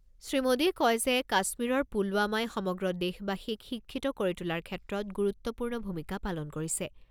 শ্ৰীমোদীয়ে কয় যে, কাশ্মীৰৰ পুলৱামাই সমগ্ৰ দেশবাসীক শিক্ষিত কৰি তোলাৰ ক্ষেত্ৰত গুৰুত্বপূৰ্ণ ভূমিকা পালন কৰিছে।